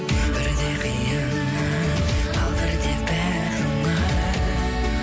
бірде қиын ай ал бірде бәрі оңай